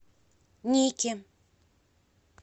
нике